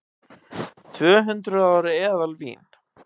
Tvöhundruð ára eðalvín